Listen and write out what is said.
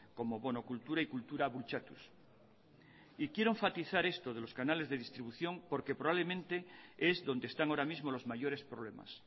como bono cultura y kultura bultzatuz quiero enfatizar esto de los canales de distribución porque probablemente es donde están ahora mismo los mayores problemas